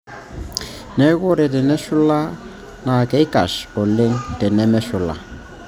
Neeku ore teneshula naa keikash alang tenemeshula.